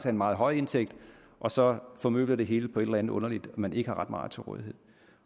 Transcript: en meget høj indtægt og så formøble det hele på et eller andet underligt man ikke har ret meget til rådighed